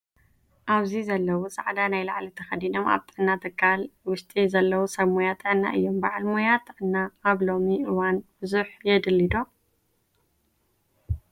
ኣብዚ ዘለው ፃዕዲ ናይ ላዕሊ ተከዲኖም ኣብ ጥዕና ትካል ውጢ ዘለው ሰብ ሞያ ጥዕና እዮም:: ባዓል ሞያ ጥዕና ኣብ ሎሚ እዋን ብዙሕ የድሊ ዶ ?